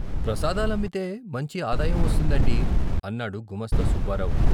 " ప్రసాదాలమ్మితే మంచి ఆదాయం వస్తుందండి " అన్నాడు గుమాస్తా సుబ్బారావు.